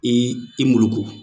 Ii i muluku